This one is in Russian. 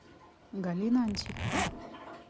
галина антипова